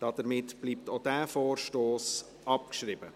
Damit bleibt auch dieser Vorstoss abgeschrieben.